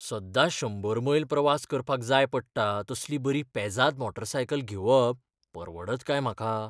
सद्दां शंबर मैल प्रवास करपाक जाय पडटा तसली बरी पेजाद मोटारसायकल घेवप परवडत काय म्हाका?